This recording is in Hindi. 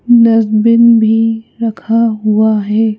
दर्जबिन भी रखा हुआ है।